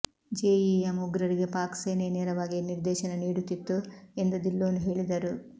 JEM ಉಗ್ರರಿಗೆ ಪಾಕ್ ಸೇನೆಯೇ ನೇರವಾಗಿ ನಿರ್ದೇಶನ ನೀಡುತ್ತಿತ್ತು ಎಂದು ಧಿಲ್ಲೋನ್ ಹೇಳಿದರು